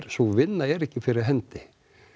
sú vinna er ekki fyrir hendi